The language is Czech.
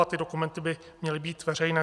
A ty dokumenty by měly být veřejné.